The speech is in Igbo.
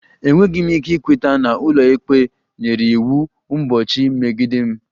Enweghị m ike ikweta na ụlọikpe nyere iwu mgbochi megide m